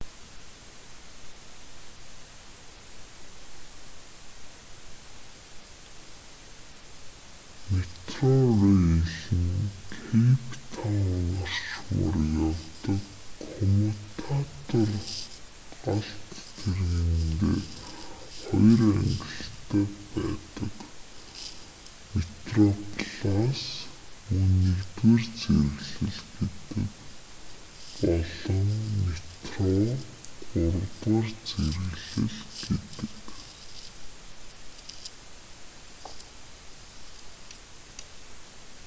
метрорэйл нь кэйп таун орчмоор явдаг коммутатор галт тэргэндээ хоёр ангилалтай байдаг: метроплас мөн нэгдүгээр зэрэглэл гэдэг болон метро гуравдугаар зэрэглэл гэдэг